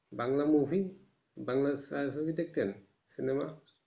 Bangla movie Bangla ছায়া ছবি দেখতেন cinema